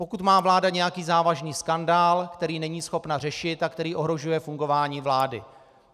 Pokud má vláda nějaký závažný skandál, který není schopná řešit a který ohrožuje fungování vlády.